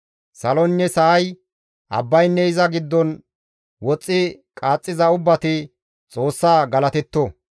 Saloynne sa7ay, abbaynne iza giddon woxxi qaaxxiza ubbati Xoossaa galatetto.